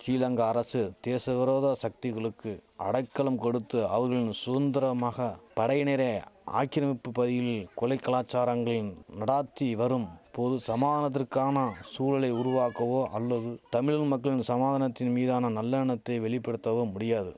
சிலங்கா அரசு தேசவிரோத சக்திகளுக்கு அடைக்கலம் கொடுத்து அவர்களின் சுதந்திரமாக படையினரே ஆக்கிரமிப்பு பகுதியில் கொலை கலாசாரங்களின் நடாத்தி வரும் போது சமானத்திற்கான சூழலை உருவாக்கவோ அல்லது தமிழின் மக்கள் சமாதனத்தின் மீதான நல்லெண்ணத்தை வெளிபடுத்தவோ முடியாது